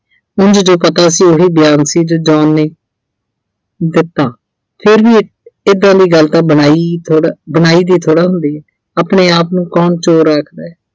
ਉਂਝ ਜੋ ਪਤਾ ਸੀ ਉਹੀ ਬਿਆਨ ਸੀ ਜੋ John ਨੇ ਦਿੱਤਾ ਫਿਰ ਵੀ ਏਦਾਂ ਦੀ ਗੱਲ ਤਾਂ ਬਣਾਈ ਹੀ ਥੋੜਾ ਆਹ ਬਣਾਈ ਦੀ ਥੋੜਾ ਹੁੰਦੀ ਆ ਆਪਣੇ ਆਪ ਨੂੰ ਕੌਣ ਚੋਰ ਆਖਦਾ।